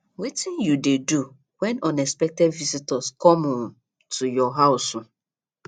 wetin you dey do when unexpected visitors come um to your house um